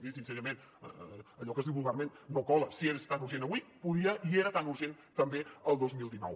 miri sincerament allò que es diu vulgarment no cola si és tan urgent avui podia i era tan urgent també el dos mil dinou